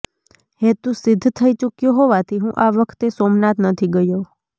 હેતુ સિદ્ધ થઈ ચૂક્યો હોવાથી હું આ વખતે સોમનાથ નથી ગયો